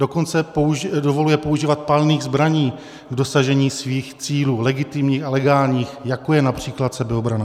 Dokonce dovoluje používat palných zbraní k dosažení svých cílů, legitimních a legálních, jako je například sebeobrana.